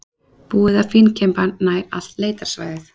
Búið að fínkemba nær allt leitarsvæðið